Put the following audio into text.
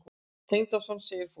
Tengdason? segir fólk.